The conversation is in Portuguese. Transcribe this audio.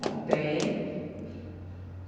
Não tem.